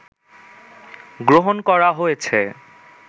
গ্রহণ করা হয়েছে